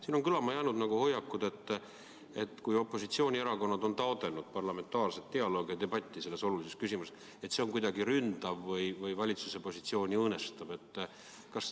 Siin on silma jäänud hoiak, et kui opositsioonierakonnad on taotlenud parlamentaarset dialoogi ja debatti selles olulises küsimuses, siis see on kuidagi ründav või valitsuse positsiooni õõnestav.